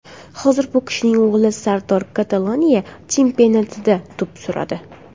Hozir bu kishining o‘g‘li Sardor Kataloniya chempionatida to‘p suradi.